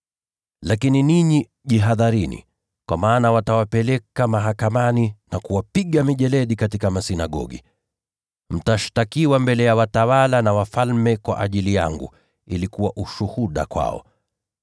“Lakini ninyi jihadharini. Kwa maana watawapeleka katika mabaraza yao na kupigwa mijeledi katika masinagogi. Mtashtakiwa mbele ya watawala na wafalme kwa ajili yangu, ili kuwa ushuhuda kwao.